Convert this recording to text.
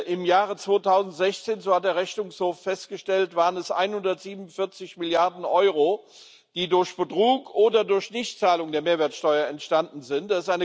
Im Jahre 2016, so hat der Rechnungshof festgestellt, waren es 147 Milliarden Euro, die durch Betrug oder durch Nichtzahlung der Mehrwertsteuer entstanden sind.